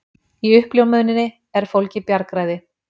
Í uppljómuninni er fólgið bjargræði.